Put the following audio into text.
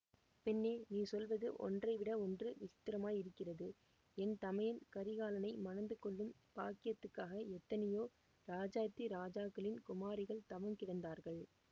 பெண்ணே நீ சொல்லுவது ஒன்றைவிட ஒன்று விசித்திரமாயிருக்கிறது என் தமையன் கரிகாலனை மணந்து கொள்ளும் பாக்கியத்துக்காக எத்தனையோ ராஜாதிராஜாக்களின் குமாரிகள் தவங்கிடந்தார்கள்